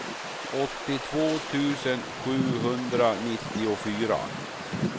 åttiotvå tusen sjuhundranittiofyra